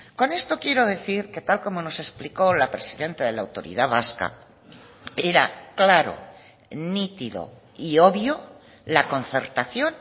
con esto quiero decir que tal como nos explicó la presidenta de la autoridad vasca era claro nítido y obvio la concertación